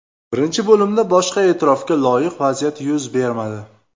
Birinchi bo‘limda boshqa e’tirofga loyiq vaziyat yuz bermadi.